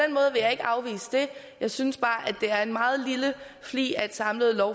jeg synes bare det er en meget lille flig af et samlet